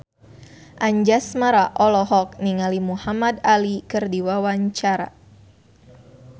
Anjasmara olohok ningali Muhamad Ali keur diwawancara